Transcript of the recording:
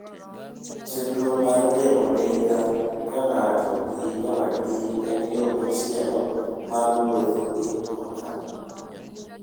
Chenro mar riembo ndiga ka ng'ato gi nyawadgi en yo machielo mar wuotho gi mtoka.